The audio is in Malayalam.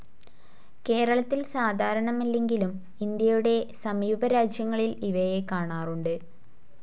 കേരളത്തിൽ സാധാരണമല്ലെങ്കിലും ഇന്ത്യയുടെ സമീപ രാജ്യങ്ങളിൽ ഇവയെ കാണാറുണ്ട്.